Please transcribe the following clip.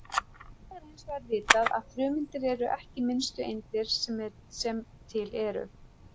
Í dag er hins vegar vitað að frumeindir eru ekki minnstu eindir sem til eru.